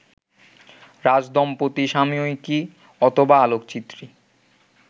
রাজদম্পতি সাময়িকী, অথবা আলোকচিত্রী